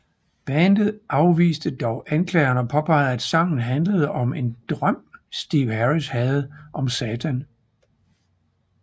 Bandet afviste dog anklagerne og påpegede at sangen handlede om en drøm Steve Harris havde om Satan